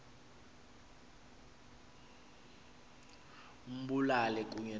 ambulale kunye nabo